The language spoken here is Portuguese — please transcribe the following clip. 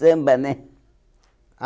Samba, né? Ah